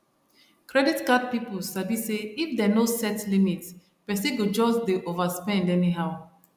credit card people sabi say if dem no set limit person go just dey overspend anyhow